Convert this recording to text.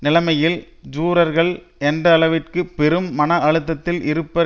நிலைமையில் ஜூரர்கள் எந்த அளவிற்கு பெரும் மன அழுத்தத்தில் இருப்பர்